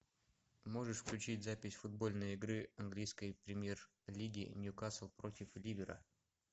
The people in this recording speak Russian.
можешь включить запись футбольной игры английской премьер лиги ньюкасл против ливера